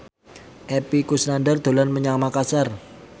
Epy Kusnandar dolan menyang Makasar